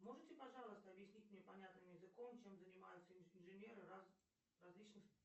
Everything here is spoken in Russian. можете пожалуйста объяснить мне понятным языком чем занимаются инженеры различных